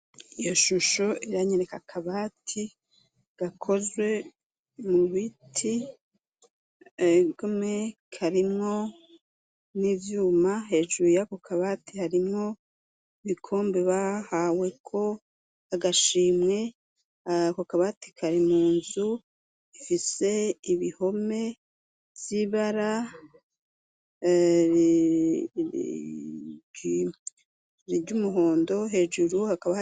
Iyo shusho iranyeneka akabati gakozwe mu biti, egome karimwo n'ivyuma hejuru yako kabati harimwo ibikombe bahaweko agashimwe ako kabati kari munzu ifise ibihome vy'ibara ry'umuhondo hejuru.